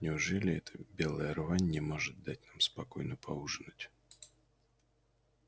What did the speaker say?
неужели эта белая рвань не может дать нам спокойно поужинать